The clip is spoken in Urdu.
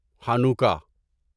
ہانوکا